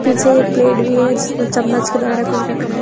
पीछे एक प्लेट भी है जिसमें चम्मच के द्वारा कुछ रखा है।